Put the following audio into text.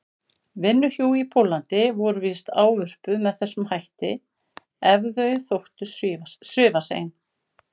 vinnuhjú í Póllandi voru víst ávörpuð með þessum hætti ef þau þóttu svifasein.